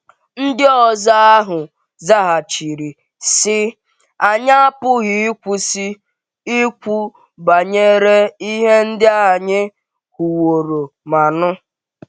Ndịozi ahụ zaghachiri, sị: “Anyị apụghị ịkwụsị ikwu banyere ihe ndị anyị hụwòrò ma nụ.”